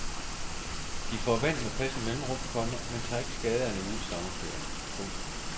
De får vand med passende mellemrum, komma men tager ikke skade af en uges sommerferie. punktum